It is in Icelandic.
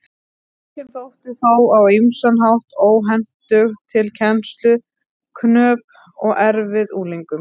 Bókin þótti þó á ýmsan hátt óhentug til kennslu, knöpp og erfið unglingum.